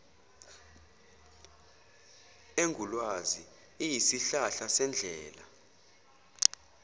engulwazi iyisihlahla sendlela